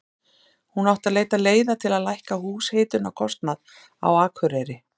Hún átti að leita leiða til að lækka húshitunarkostnað á Akureyri.